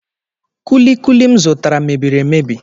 Kulikuli m zụtara mebiri emebi.